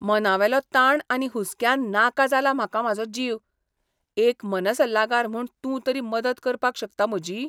मनावेलो ताण आनी हुस्क्यान नाका जाला म्हाका म्हाजो जीव. एक मनसल्लागार म्हूण तूं तरी मदत करपाक शकता म्हजी?